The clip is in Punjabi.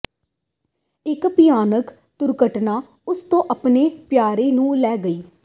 ਇਕ ਭਿਆਨਕ ਦੁਰਘਟਨਾ ਉਸ ਤੋਂ ਆਪਣੇ ਪਿਆਰੇ ਨੂੰ ਲੈ ਗਈ